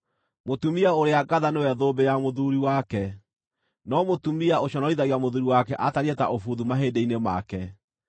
Mũtumia ũrĩa ngatha nĩwe thũmbĩ ya mũthuuri wake, no mũtumia ũconorithagia mũthuuri wake atariĩ ta ũbuthu mahĩndĩ-inĩ make.